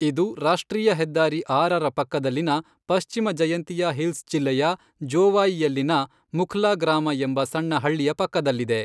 ಇದು ರಾಷ್ಟ್ರೀಯ ಹೆದ್ದಾರಿ ಆರರ ಪಕ್ಕದಲ್ಲಿನ ಪಶ್ಚಿಮ ಜಯಂತಿಯಾ ಹಿಲ್ಸ್ ಜಿಲ್ಲೆಯ ಜೋವಾಯಿಯಲ್ಲಿನ ಮುಖ್ಲಾ ಗ್ರಾಮ ಎಂಬ ಸಣ್ಣ ಹಳ್ಳಿಯ ಪಕ್ಕದಲ್ಲಿದೆ.